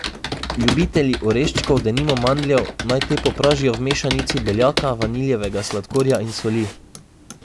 Ljubitelji oreškov, denimo mandljev, naj te popražijo v mešanici beljaka, vaniljevega sladkorja in soli.